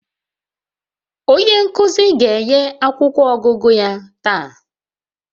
Onye nkuzi ga-enye akwụkwọ ọgụgụ ya taa